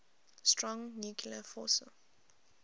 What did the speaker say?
strong nuclear force